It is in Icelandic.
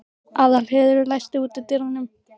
Aðalheiður, læstu útidyrunum.